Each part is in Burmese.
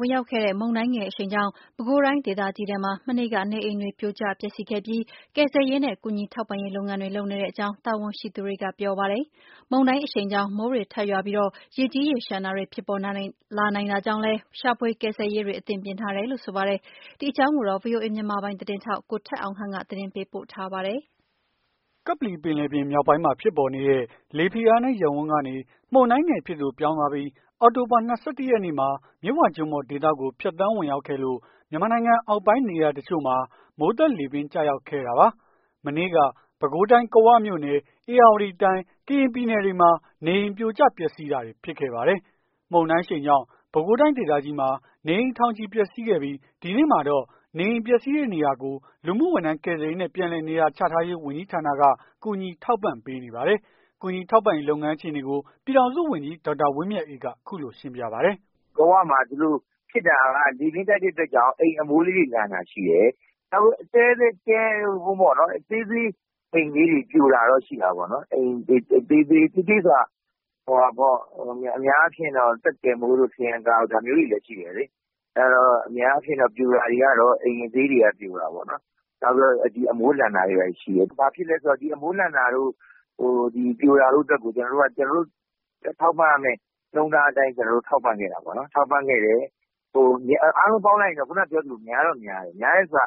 ဝင်ရောက်ခဲ့တဲ့ မုန်တိုင်းငယ်အရှိန်ကြောင့် ပဲခူးတိုင်းဒေသကြီးမှာ မနေ့က နေအိမ်တွေ ပြိုကျ ပျက်စီးခဲ့ပြီး ကယ်ဆယ်ရေးနဲ့ ကူညီထောက်ပံ့ရေးလုပ်ငန်းတွေ လုပ်နေတဲ့အကြောင်း တာဝန်ရှိသူတွေကပြောဆိုပါတယ်။ မုန်တိုင်း အရှိန်ကြောင့် မိုးတွေထပ်ရွာသွန်းပြီး ရေကြီးရေလျံတာတွေ ဖြစ်ပေါ်နိုင်တာကြောင့်လည်း ရှာဖွေကယ်ဆယ်ရေးတွေ အသင့်ပြင်ထားတယ်လို့ဆိုပါတယ်။ ဒီအကြောင်းကို ဗွီအိုအေ မြန်မာပိုင်းသတင်းထောက် ကိုထက်အောင်ခန့်က သတင်းပေးပို့ထားပါတယ်။ ကပ္ပလီပင်လယ်ပြင် မြောက်ပိုင်းမှာ ဖြစ်ပေါ်နေတဲ့ လေဖိအားနည်း ရပ်ဝန်းကနေ မုန်တိုင်းငယ် အဖြစ်သို့ ပြောင်းသွားပြီး အောက်တိုဘာ ၂၁ ရက်နေ့မှာ မြစ်ဝကျွန်းပေါ်ဒေသကို ဖြတ်သန်းဝင်ရောက်ခဲ့လို့ မြန်မာနိုင်ငံအောက်ပိုင်းနေရာတချို့မှာ မိုးသက် လေပြင်းကျရောက်ခဲ့တာပါ။ မနေ့က ပဲခူးတိုင်း ကဝမြို့နယ် ၊ ဧရာဝတီတိုင်း ၊ ကရင်ပြည်နယ် တွေမှာ နေအိမ် ပြိုကျ ပျက်စီးတာတွေ ဖြစ်ခဲ့ပါတယ်။ မုန်တိုင်းအရှိန်ကြောင့် ပဲခူးတိုင်းဒေသကြီးမှာ နေအိမ် ထောင်ချီ ပျက်စီးခဲ့ပြီး ဒီနေ့မှာတော့ နေအိမ်ပျက်စီးတဲ့နေရာကို လူမှုဝန်းထမ်းကယ်ဆယ်ရေးနှင့် ပြန်လည်နေရာချထားရေး ဝန်ကြီးဌာနက ကူညီထောက်ပံ့ပေးနေပါတယ်။ ကူညီထောက်ပံ့ရေး လုပ်ငန်း အခြေအနေကို ပြည်ထောင်စုဝန်ကြီး ဒေါက်တာဝင်းမြတ်အေးက အခုလိုရှင်းပြပါတယ်။ "ကဝမှာ လေပြင်းတိုက်တဲ့အတွက်ကြောင့် အိမ်အမိုးလေးတွေလန်တာရှိတယ်။ နောက်သေးသေး အိမ်လေး တွေပြိုတာတော့ရှိတာပေါ့နော်။ နောက်အိမ်သေးသေးဆိုတာက အများအားဖြင့်တော့ သက်ကယ်မိုးတို့ ထရံကာ တို့ ဒါမျိုးလေးတွေရှိတယ်။ အဲ့တော့ အများအားဖြင့်တော့ အိမ်အသေးလေးတွေကပြိုတာ များတာပေါ့။ နောက်အမိုးလန်တာတွေဘာတွေရှိတယ်။ ဘာဖြစ်လည်းဆိုတော့ အမိုးလန်တာတို့ ပြိုတာတို့အတွက်ကျတော့ ကျွန်တော်တို့ထောက်ပံ့ရမယ့် နှုန်းထားအတိုင်း ကျွန်တော်တို့ ထောက်ပံ့ခဲ့တာပေါ့။ အားလုံးပေါင်းလိုက်ရင်တော့ များတော့များတယ်။ များတယ်ဆို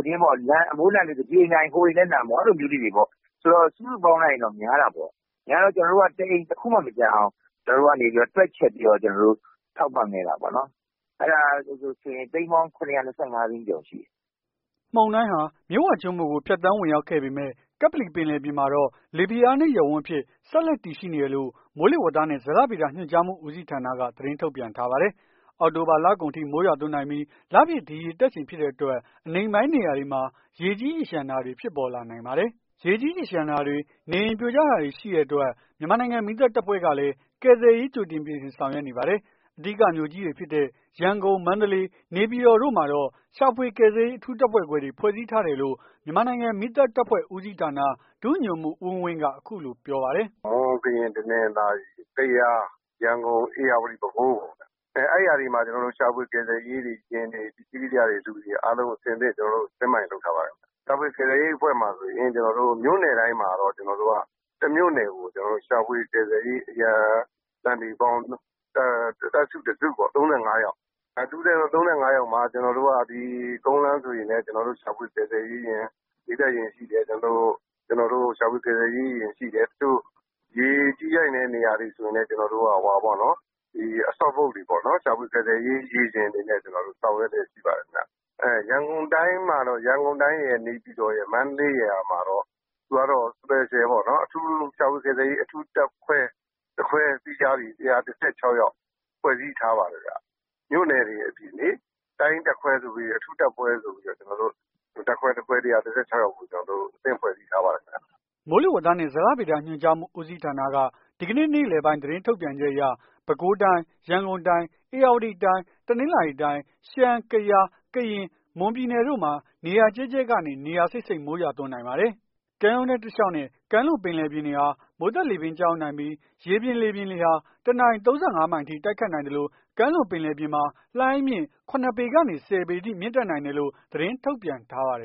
က အမိုးလန်တယ်ဆိုတာ ဒီအိမ်လန်ရင် ဟိုအိမ်လည်းလန် အဲ့လိုမျိုးလေးတွေ ပေါ့။ စုစုပေါင်းလိုက်ရင်တော့ များတာပေါ့။ များတော့ တအိမ် တခုမှ မကျန်အောင် ကျွန်တော်တို့ကနေပြီး တွက်ချက်ပြီးတော့ ကျွန်တော်တို့ ထောက်ပံ့ခဲ့တာပေါ့နော်။ အဲ့ဒါကဆိုရင် သိန်းပေါင်း ၇၂၅ သိန်းကျော် ရှိတယ်။" မုန်တိုင်းဟာ မြစ်ဝကျွန်းပေါ်ကို ဖြတ်သန်းဝင်ရောက်ခဲ့ပေမယ့် ကပ္ပလီပင်လယ်ပြင်မှာတော့ လေဖိအားနည်း ရပ်ဝန်းအဖြစ် ဆက်လက်တည်ရှိနေတယ်လို့ မိုးလေဝသနှင့်ဇလဗေဒညွှန်ကြားမှု ဦးစီးဌာနက သတင်းထုတ် ပြန်ထားပါတယ်။ အောက်တိုဘာ လကုန်အထိ မိုးရွာသွန်းနိုင်ပြီး လပြည့်ဒီရေတက်ချိန်ဖြစ်တဲ့အတွက် အနိမ့်ပိုင်း နေရာတွေမှာ ရေကြီးရေလျံတာတွေ ဖြစ်ပေါ်နိုင်ပါတယ်။ ရေကြီးရေလျံတာတွေ နေအိမ် ပြိုကျတာတွေ ရှိနေတဲ့အတွက် မြန်မာနိုင်ငံမီးသတ်တပ်ဖွဲ့ကလည်း ကယ်ဆယ်ရေး ကြိုတင်ပြင်ဆင် ဆောင်ရွက်နေပါတယ်။ အဓိကမြို့ကြီးတွေဖြစ်တဲ့ ရန်ကုန် မန္တလေး နေပြည်တော်တို့မှာတော့ ရှာဖွေကယ်ဆယ်ရေး အထူးတပ်ဖွဲ့ခွဲတွေ ဖွဲ့စည်းထားတယ်လို့ မြန်မာနိုင်ငံမီးသတ်တပ်ဖွဲ့ဦးစီးဌာန ဒုညွှန်မှူး ဦးဝင်းဝင်းက အခုလိုပြောပါတယ်။ "မွန် ၊ ကရင် တနင်္သာရီ ၊ ကယား ၊ ရန်ကုန် ၊ ဧရာဝတီ ၊ ပဲခူး အဲ့ဟာတွေမှာ ရှာဖွေကယ်ဆယ်ရေးယာဉ်တွေ ပစ္စည်း ကရိယာတွေအားလုံး အဆင်သင့် Satnd by လုပ်ထားပါတယ်။ ရှာဖွေကယ်ဆယ်ရေးအဖွဲ့မှာဆိုရင် မြို့နယ်တိုင်းမှာတော့ ကျွန်တော်တို့က တမြို့နယ်ကို ရှာဖွေကယ်ဆယ်ရေး အရန် သန္ဓေပေါင်း တပ်စု တစုပေါ့ ၃၅ ယောက် ၃၅ ယောက်မှာ ကျွန်တော်တို့က ကုန်လမ်းဆိုရင်လည်း ရှာဖွေကယ်ဆယ်ရေးယာဉ် မီးသတ်ယာဉ် ရှိတယ်။ ကျွန်တော်တို့ ရှာဖွေကယ်ဆယ်ရေးယာဉ်ရှိတယ်။ တချို့ရေကြီးနိုင်တဲ့ နေရာတွေဆိုရင်လည်း ရှာဖွေ ကယ်ဆယ်ရေး ရေယာဉ်တွေနဲ့ ကျွန်တော်တို့ဆောင်ရွက်လျက်ရှိပါတယ်။ ရန်ကုန်တိုင်းရယ် နေပြည်တော်ရယ် မန္တလေးရယ်မှာတော့ သူကတော့ Special ပေါ့ အထူးပေါ့ ရှာဖွေကယ်ဆယ်ရေး အထူးတပ်ဖွဲ့ တပ်ခွဲ ၁၁၆ ယောက်ဖွဲ့စည်းထားပါတယ်။ မြို့နယ်တွေအပြင် တိုင်းတပ်ခွဲစု အထူးတပ်ခွဲဆိုပြီး တပ်ခွဲတခွဲ ၁၁၆ ယောက်ကို အသင့်ဖွဲ့စည်းထားပါတယ်။" မိုးလေဝသနှင့်ဇလဗေဒညွှန်ကြားမှု ဦးစီးဌာနက ဒီကနေ့ နေ့လည်ပိုင်း သတင်းထုတ်ပြန်ချက်အရ ပဲခူးတိုင်း ၊ ရန်ကုန်တိုင်း ၊ ဧရာဝတီတိုင်း တနင်္သာရီတိုင်း ၊ရှမ်း ၊ ကယား ၊ ကရင်၊ မွန်ပြည်နယ်တို့မှာ နေရာကျဲကျဲကနေ နေရာစိပ်စိပ်မိုးရွာသွန်းနိုင်ပါတယ်။ ကမ်းရိုးတန်းတလျောက်နဲ့ ကမ်းလွန်ပင်လယ်ပြင်တွေဟယ မိုးသက်လေပြင်းကျရောက်နိုင်ပြီး ရေပြင်မြေပြင်လေဟာ တနာရီ ၃၅ မိုင်အထိ တိုက်ခတ်နိုင်သလို ကမ်းလွန်ပြင်လယ်ပြင်မှာ လှိုင်းအမြင့် ၇ ပေကနေ ၁၀ ပေအထိ မြင့်တက် နိုင်တယ်လို့ သတင်းထုတ်ပြန်ထားပါတယ်